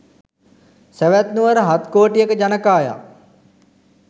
සැවැත් නුවර හත් කෝටියක ජනකායක්